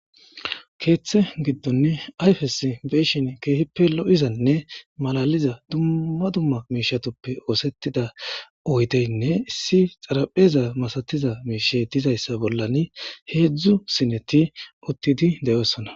keeththe giddonne ayfes be'ishshin ke'ihippe lo'izanne malaliza dumma dumma miishshatuppe oosettida oydeynne issi xaraphpheza masatiza miishshey dizayssa bollani heedzdzu sineti uttidi deyoossona